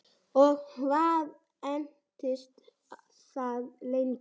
Og hvað entist það lengi?